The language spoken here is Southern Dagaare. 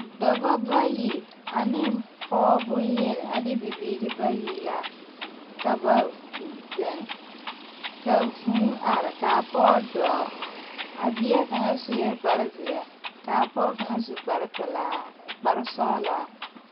Dɔbɔ ba yi ane pɔgɔ boŋyeni ne bibiiri bayi la ka ba zeŋ ka vūū are ka a pɔge dɔɔ a bie kaŋa sue kpare zeɛ ka a pɔge kaŋa su kpare pelaa sɔglaa.